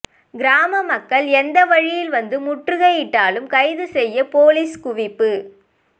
கிராம மக்கள் எந்தவழியில் வந்து முற்றுகையிட்டாலும் கைது செய்ய போலீஸ் குவிப்பு